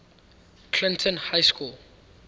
clinton high school